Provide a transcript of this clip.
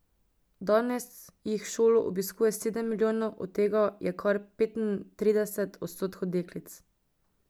Danes jih šolo obiskuje sedem milijonov, od tega je kar petintrideset odstotkov deklic.